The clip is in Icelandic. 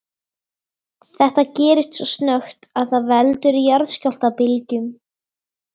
Þetta gerist svo snöggt að það veldur jarðskjálftabylgjum.